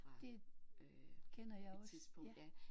Det kender jeg også ja